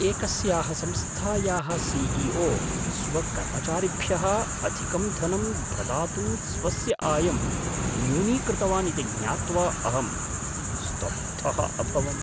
एकस्याः संस्थायाः सी.ई.ओ. स्वकर्मचारिभ्यः अधिकं धनं प्रदातुं स्वस्य आयं न्यूनीकृतवान् इति ज्ञात्वा अहं स्तब्धः अभवम्।